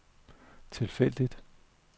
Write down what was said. tilfældigt